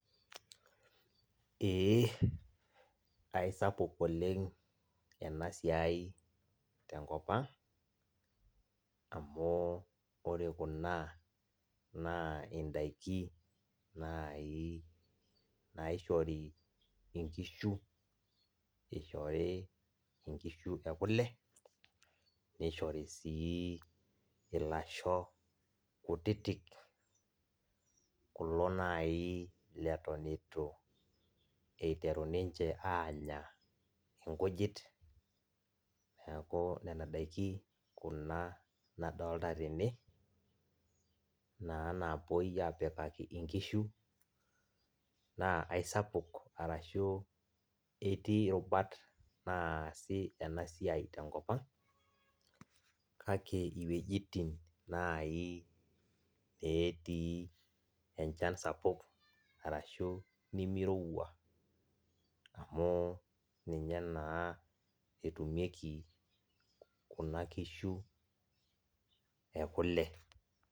Eh aisapuk oleng ena siai te enkop ang amu ore kuna naa indaikin naai naishori inkishu ishori inkishu enkule neishori sii ilasho kutitik kulo naaji leton itu iteru ninche aanya ikujit neaku nena ndaiki nena nadolita tene naa napoi apikaki inkishu naa aisapuk ashu etii roruat naa sii ena siai te enkop ang kake iwejitin netii enchan sapuk arashu nimirowua amu ninye naa etumieki kuna nkishu ee kule.